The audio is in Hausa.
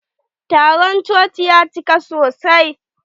Taron coci ya cika sosai.